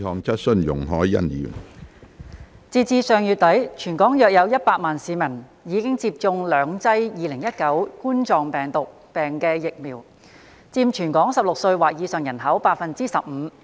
截至上月底，全港約有100萬名市民已接種兩劑2019冠狀病毒病疫苗，佔全港16歲或以上人口百分之十五。